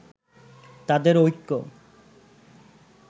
তাদের ঐক্য